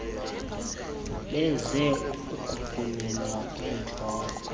beze ukuphululwa kwentloko